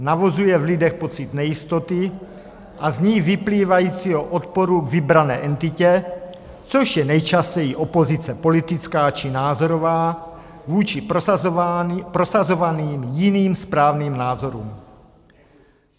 Navozuje v lidech pocit nejistoty a z ní vyplývajícího odporu k vybrané entitě, což je nejčastěji opozice politická či názorová vůči prosazovaným jiným, správným názorům.